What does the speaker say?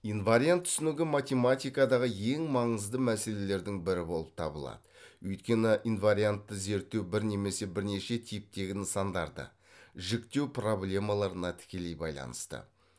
инвариант түсінігі математикадағы ең маңызды мәселелердің бірі болып табылады өйткені инвариантты зерттеу бір немесе бірнеше типтегі нысандарды жіктеу проблемаларына тікелей байланысты